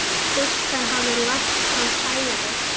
Stúlkan hafði lagt fram kæru.